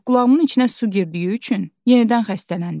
Ancaq qulağımın içinə su girdiyi üçün yenidən xəstələndim.